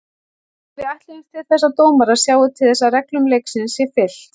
Við ætlumst til þess að dómarar sjái til þess að reglum leiksins sé fylgt.